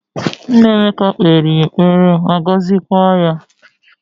Nna Emeka kpere ya ekpere ma gozikwa ya